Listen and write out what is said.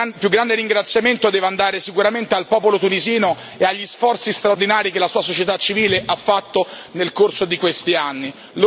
Ma il più grande ringraziamento deve andare sicuramente al popolo tunisino e agli sforzi straordinari che la sua società civile ha fatto nel corso di questi anni.